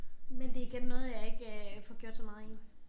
Men det igen noget jeg ikke øh får gjort så meget i